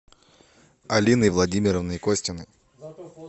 алиной владимировной костиной